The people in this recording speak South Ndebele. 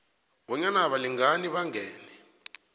bonyana abalingani bangene